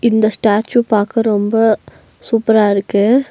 இந்த ஸ்டேச்சு பாக்க ரொம்ப சூப்பரா இருக்கு.